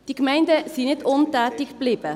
Die Gemeinden sind nicht untätig geblieben.